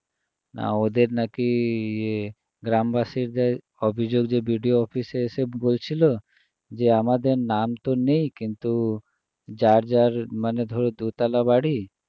না ওদের নাকি ইয়ে গ্রামবাসীরা অভিযোগ যে BDO office এ এসে বলছিল যে আমাদের নাম তো নেই কিন্তু যার যার মানে ধরো দুতলা বাড়ি